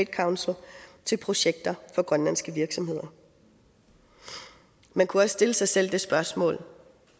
council til projekter for grønlandske virksomheder man kunne også stille sig selv det spørgsmål